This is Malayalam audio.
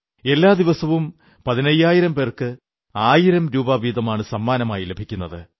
എല്ലാ ദിവസവും പതിനയ്യായിരം പേർക്ക് ആയിരം രൂപവീതമാണ് സമ്മാനം ലഭിക്കുന്നത്